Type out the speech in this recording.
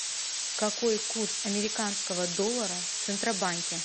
какой курс американского доллара в центробанке